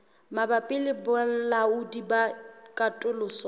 mabapi le balaodi ba katoloso